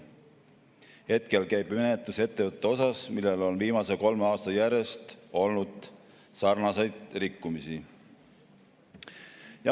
Hetkel käib menetlus ettevõtete osas, millel on viimasel kolmel aastal olnud järjest sarnaseid rikkumisi.